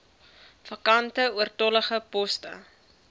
vakante oortollige poste